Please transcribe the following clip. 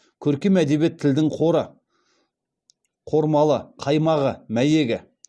көркем әдебиет тілдің қоры қормалы қаймағы мәйегі